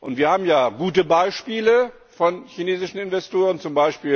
Wir haben ja gute Beispiele von chinesischen Investoren, z.